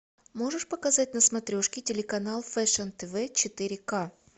можешь показать на смотрешке телеканал фэшн тв четыре ка